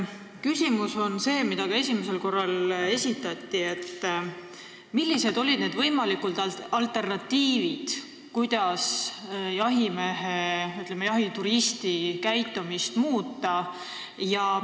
Küsimus, mis esitati ka esimesel korral, on see, millised on võimalikud alternatiivid, selleks et jahituristi käitumist muuta.